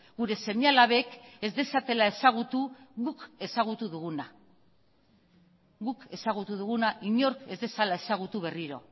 gure seme alabek ez dezatela ezagutu guk ezagutu duguna guk ezagutu duguna inork ez dezala ezagutu berriro